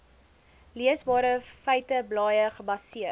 leesbare feiteblaaie gebaseer